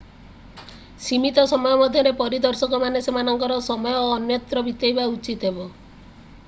ସୀମିତ ସମୟ ମଧ୍ୟରେ ପରିଦର୍ଶକମାନେ ସେମାନଙ୍କ ସମୟ ଅନ୍ୟତ୍ର ବିତେଇବା ଉଚିତ ହେବ